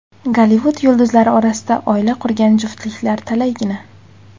Gollivud yulduzlari orasida oila qurgan juftliklar talaygina.